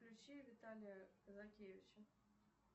включи виталия казакевича